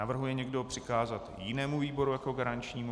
Navrhuje někdo přikázat jinému výboru jako garančnímu?